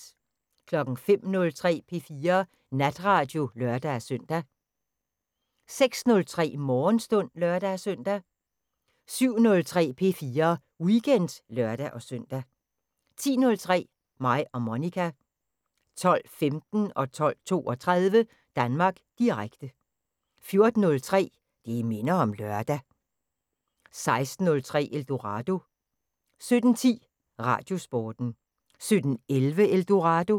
05:03: P4 Natradio (lør-søn) 06:03: Morgenstund (lør-søn) 07:03: P4 Weekend (lør-søn) 10:03: Mig og Monica 12:15: Danmark Direkte 12:32: Danmark Direkte 14:03: Det minder om lørdag 16:03: Eldorado 17:10: Radiosporten 17:11: Eldorado